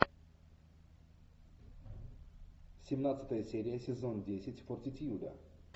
семнадцатая серия сезон десять фортитьюда